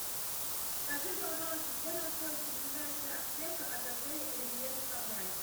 скажи пожалуйста где находится ближайшая аптека от отеля ривьера санрайз